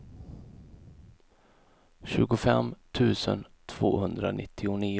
tjugofem tusen tvåhundranittionio